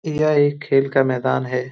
यह एक खेल का मैदान है।